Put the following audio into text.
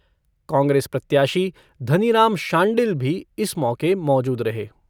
कांग्रेस प्रत्याशी धनीराम शांडिल भी इस मौके मौजूद रहे।